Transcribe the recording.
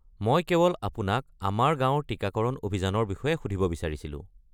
মই কেৱল আপোনাক আমাৰ গাঁৱৰ টিকাকৰণ অভিযানৰ বিষয়ে সুধিব বিচাৰিছিলোঁ।